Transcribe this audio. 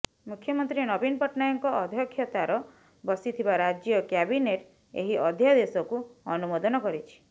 ମୁଖ୍ୟମନ୍ତ୍ରୀ ନବୀନ ପଟ୍ଟନାୟକଙ୍କ ଅଧ୍ୟକ୍ଷତାର ବସିଥିବା ରାଜ୍ୟ କ୍ୟାବିନେଟ୍ ଏହି ଅଧ୍ୟାଦେଶକୁ ଅନୁମୋଦନ କରିଛି